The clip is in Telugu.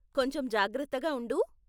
కొంచెం జాగ్రత్తగా ఉండు.